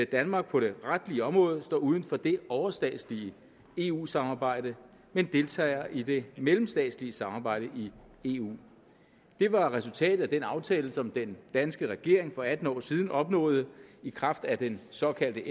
danmark på det retlige område står uden for det overstatslige eu samarbejde men deltager i det mellemstatslige samarbejde i eu det var resultatet af den aftale som den danske regering for atten år siden opnåede i kraft af den såkaldte